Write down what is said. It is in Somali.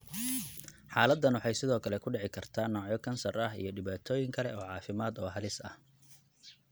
Xaaladdan waxay sidoo kale ku dhici kartaa noocyo kansar ah iyo dhibaatooyin kale oo caafimaad oo halis ah.